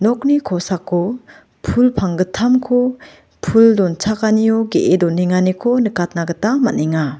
nokni kosako pul panggittamko pul donchakanio ge·e donenganiko nikatna gita man·enga.